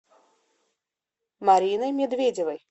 мариной медведевой